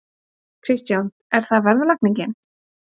Kristján: Er það verðlagningin?